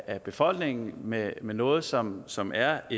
af befolkningen med noget som som er